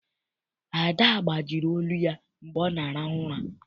Ada gbajiri olu ya mgbe ọ na-arahu ụra.